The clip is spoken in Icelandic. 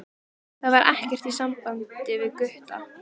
Það er ekkert í sambandi við Gutta.